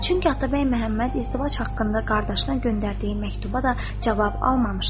Çünki Atabəy Məhəmməd izdivac haqqında qardaşına göndərdiyi məktuba da cavab almamışdı.